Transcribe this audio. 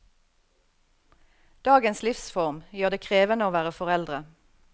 Dagens livsform gjør det krevende å være foreldre.